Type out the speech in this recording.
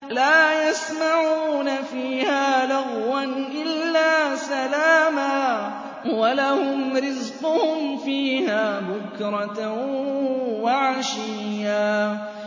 لَّا يَسْمَعُونَ فِيهَا لَغْوًا إِلَّا سَلَامًا ۖ وَلَهُمْ رِزْقُهُمْ فِيهَا بُكْرَةً وَعَشِيًّا